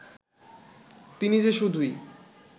তিনি যে শুধুই